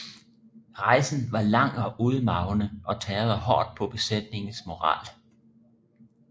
Rejsen var lang og udmarvende og tærede hårdt på besætningernes moral